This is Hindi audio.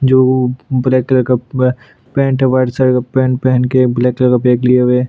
जो ब्लैक कलर का पूरा पैंट है वाइट शर्ट कलर का पैंट पहन के ब्लैक कलर का बैग लिए हुए --